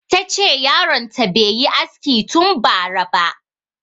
Ta ce yaron ta bai yi aski tun bara ba